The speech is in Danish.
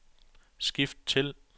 skift til